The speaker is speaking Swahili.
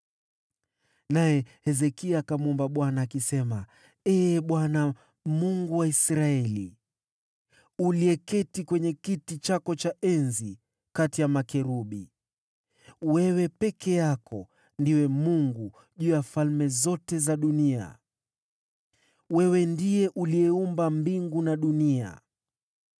Naye Hezekia akamwomba Bwana akisema: “Ee Bwana , Mungu wa Israeli, uketiye juu ya kiti cha enzi kati ya makerubi, wewe peke yako ndiwe Mungu juu ya falme zote za dunia. Wewe umeumba mbingu na nchi.